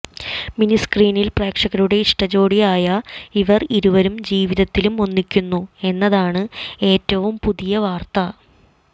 mini screen പ്രേക്ഷകരുടെ ഇഷ്ട ജോഡിയായ ഇവർ ഇരുവരും ജീവിതത്തിലും ഒന്നിക്കുന്നു എന്നതാണ് ഏറ്റവും പുതിയ വാർത്ത